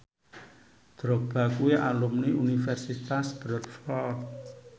Drogba kuwi alumni Universitas Bradford